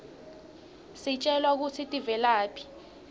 sitjelwa kutsi tivelaphi